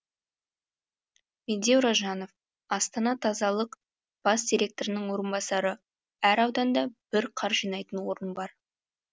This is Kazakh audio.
медеу ражанов астана тазалық бас директорының орынбасары әр ауданда бір қар жинайтын орын бар